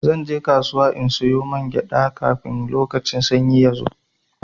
Zan je kasuwa in sayo man kaɗanya, kafin lokacin sanyi ya zo.